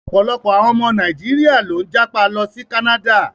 Ọ̀pọ̀lọpọ̀ àwọn ọmọ Nàíjíríà ló ń jápa lọ sí Canada.